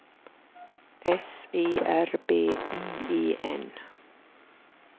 S E R B I E N